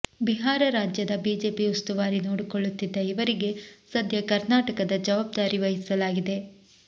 ಬಿಹಾರ ರಾಜ್ಯದ ಬಿಜೆಪಿ ಉಸ್ತುವಾರಿ ನೋಡಿಕೊಳ್ಳುತ್ತಿದ್ದ ಇವರಿಗೆ ಸದ್ಯ ಕರ್ನಾಟಕದ ಜವಾಬ್ದಾರಿ ವಹಿಸಲಾಗಿದೆ